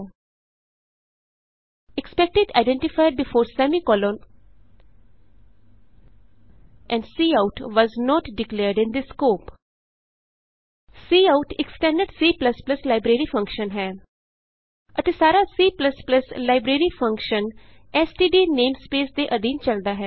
expected identifier before semicolon and cout was not declared in this scope cout ਇਕ standard C library function ਹੈ ਅਤੇ ਸਾਰਾ C library function STD namespace ਦੇ ਅਧੀਨ ਚਲਦਾ ਹੈ